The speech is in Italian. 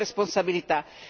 Questa è la sua